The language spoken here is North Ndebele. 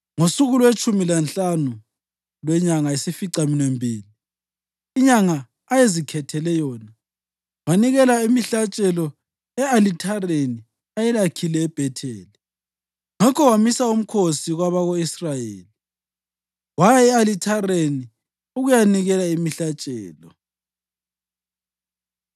Ngosuku lwetshumi lanhlanu lwenyanga yesificaminwembili, inyanga ayezikhethele yona, wanikela imihlatshelo e-alithareni ayelakhile eBhetheli. Ngakho wamisa umkhosi kwabako-Israyeli waya e-alithareni ukuyanikela imihlatshelo.